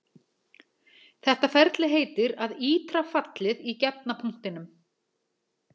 Þetta ferli heitir að ítra fallið í gefna punktinum.